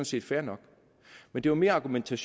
set fair nok men det var mere argumentet